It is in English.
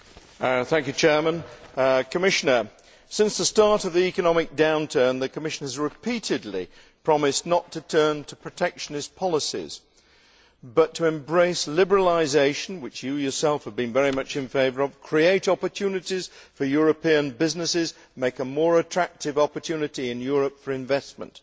Mr President, I would say this to the Commissioner since the start of the economic downturn, the Commission has repeatedly promised not to turn to protectionist policies but to embrace liberalisation which you yourself have been very much in favour of create opportunities for European businesses and make a more attractive opportunity in Europe for investment.